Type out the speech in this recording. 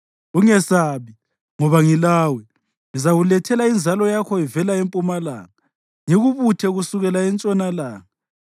Ungesabi, ngoba ngilawe; ngizakulethela inzalo yakho ivela empumalanga ngikubuthe kusukela entshonalanga.